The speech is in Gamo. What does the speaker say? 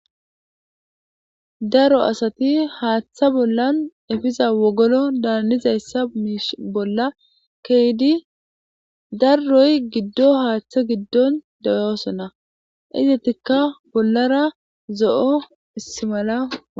daro asati haaththa bollan efiza wogolo daanizayssa miish bolla keydi darroy giddo haaththa giddon deyoosona izetikka bollara zo7o istimala